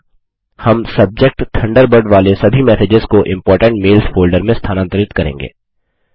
यहाँ हम subject Thunderbird वाले सभी मैसेजेस को इम्पोर्टेंट मेल्स फोल्डर में स्थानांतरित करेंगे